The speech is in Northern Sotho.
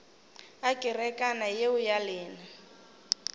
a kerekana yeo ya lena